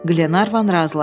Qlenarvan razılaşdı.